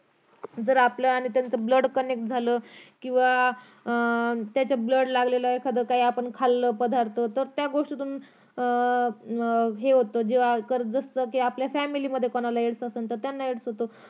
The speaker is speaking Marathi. जर आपलं आणि त्यांच blood connect झालं किंवा अं त्याच blood लागलेलं एखादं काही आपण खाल्लं पदार्थ तर त्या गोष्टीतून अं हे होतं जर आपल्या अह हे होत जे होत ते पसरत Family त कोणाला एड्स एडेल असेल तर त्यांना होतो